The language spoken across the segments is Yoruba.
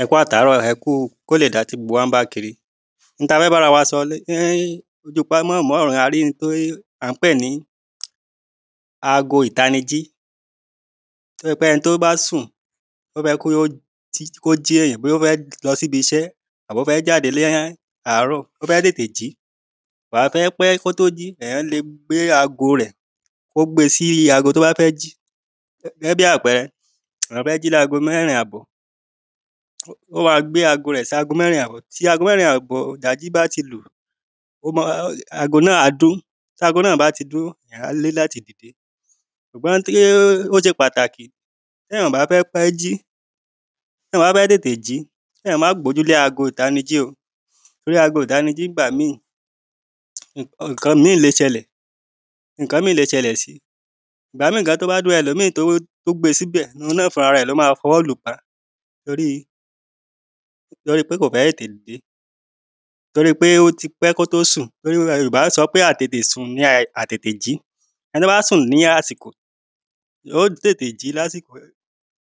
Ẹ kú àtàárọ̀, ẹ kú kí ó lè da tí gbogbo wa ń bá kiri, oun tí a fẹ́ bára wa sọ, a rí oun tí à ń pè ní ago ìtanijí tó jẹ́ pé ẹni tó bá sùn, tó fẹ́ kó jí èyàn, bóyá ó fẹ lọ sí ibiṣẹ́, àbí ó fẹ́ jáde ní àárò, ó fẹ́ tètè jí, kò wá fẹ́ pé kí ó tó jí, èyàn le gbé ago rẹ̀, kó gbe sí ago tó bá fẹ́ jí. Gẹ́gẹ́ bí àpẹrẹ, èyàn fẹ́ jí ní ago mẹ́rin àbò, ó ma gbé ago rẹ̀ sí ago mẹ́rin àbò, tí ago mẹ́rin àbò ìdájí bá ti lù, ó ma, ago náà á dún, tí ago náà bá ti dún, èyàn á ní láti dìde ṣùgbọ́n ó ṣe pàtàkì tí èyàn ò bá fẹ́ pẹ́ jí, tí èyàn bá fẹ́ tètè jí, kí èyàn máà gbójúlé ago ìtanijí o, torí ago ìtanijí nígbà mí, ǹkan mí le ṣẹlẹ̀, ǹkan mí le ṣẹlẹ̀ si, ìgbà mí gan tí ó bá dún, ẹlòmí tó gbe síbẹ̀, òun náà fún ra rẹ̀ ló ma fi ọwọ́ lùúpa, torí pé kò fẹ́ dìde, torí pé ó ti pẹ́ kó tó sùn, torí Yorùbá sọ wípé àìtètè sùn ni àìtètè jí, ẹni tó bá sùn ní àsìkò, ó tètè jí lásìkò,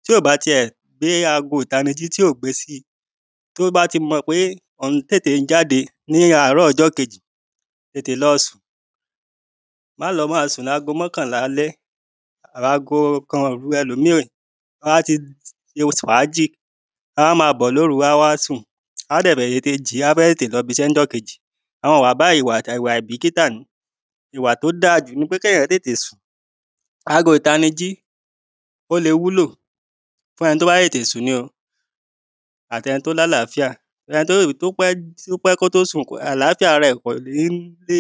tí ò bá ti ẹ̀ gbé ago ìtanijí, tí ò gbe si, tí o bá ti mọ̀ pé òún tètè jáde ní àárò ọjọ́ kejì, tètè lọ sùn, má lọ máa sùn lágo mọ̀kánlá alẹ́. Ago kan òru ẹlòmí, á ti fàájì, á ma bọ̀ lóru wá sùn á dẹ̀ fẹ́ tètè jí, á fẹ́ tètè lọ b'isẹ́ ní ọjọ́ kejì, àwọn ìwà báyìí, àwọn ìwà àìbìkítá, ìwà tó da jù ni pé kí èyàn tètè sùn, ago ìtanijí ó le wúlò fún ẹni tó bá tètè sùn ní o, àti ẹni tó ní àláfíà, ẹni tó pẹ́, tí ó pẹ́ kó tó sùn, àláfíà ara ẹ̀ kò ní lè,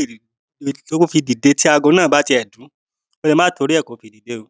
lè tó fi dìde tí ago náà bá ti ẹ̀ dún, ó le má torí ẹ́, kó fi dìde o.